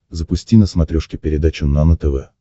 запусти на смотрешке передачу нано тв